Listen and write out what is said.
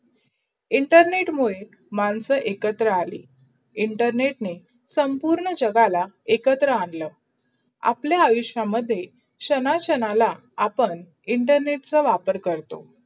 internet मूढे मनसा एकत्र अले. internet ने संपूर्ण जगाला एकत्र आणला. आपला आयुषमाधे शान शनाला आपण इंटरनेटछ वापर करतो.